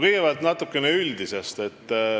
Kõigepealt natukene üldisest.